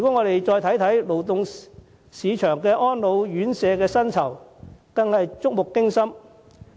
勞動市場安老院舍的薪酬，更令人觸目驚心。